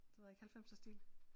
Det ved jeg ikke halvfemserstil